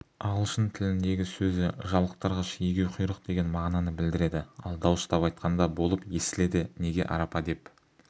ағылшын тіліндегі сөзі жалықтырғыш егеуқұйқыр деген мағынаны білдіреді ал дауыстап айтқанда болып естіледі неге арапа деп